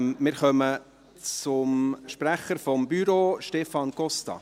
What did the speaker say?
Wir kommen zum Sprecher des Büros, Stefan Costa.